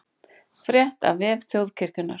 Frétt á vef Þjóðkirkjunnar